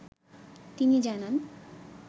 তিনি জানান